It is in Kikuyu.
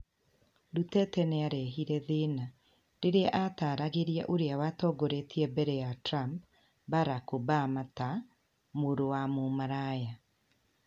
Duterte nĩ arehĩre thĩĩna . Rĩrĩ a ataaragĩria oria watongorĩtie mbere ya Trump, Barack Obama ta "mũrũ wa mũmaraya".